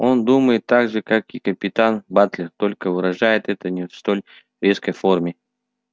он думает так же как и капитан батлер только выражает это не в столь резкой форме